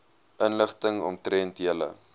inligting omtrent julle